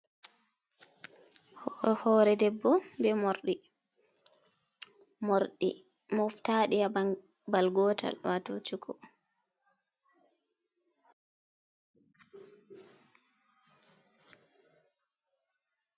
Hoore debbo ɓe morɗi morɗi moftadi ha babal gotal wato cuku.